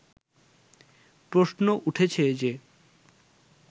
প্রশ্ন উঠেছে যে